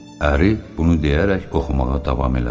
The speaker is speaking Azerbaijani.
Əri bunu deyərək oxumağa davam elədi.